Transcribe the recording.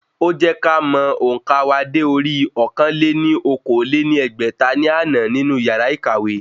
Ó jẹ́ ká mọ òǹkà wa dé orí ọ̀kan-lé-ní-okòó lé ní ẹgbẹ́ta ní àná nínú yàrá ìkàwé